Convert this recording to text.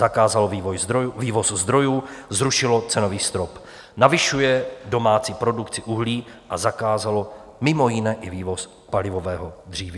Zakázalo vývoz zdrojů, zrušilo cenový strop, navyšuje domácí produkci uhlí a zakázalo mimo jiné i vývoz palivového dříví.